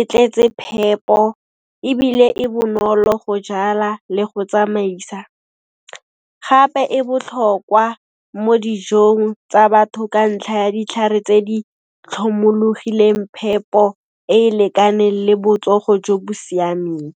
e tletse phepo ebile e bonolo go jala le go tsamaisa, gape e botlhokwa mo dijong tsa batho ka ntlha ya ditlhare tse di tlhomologileng phepo e e lekaneng le botsogo jo bo siameng.